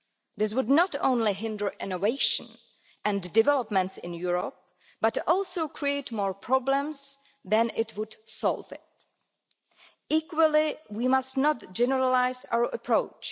This would not only hinder innovation and developments in Europe, but also create more problems than it would solve. Equally, we must not generalise our approach.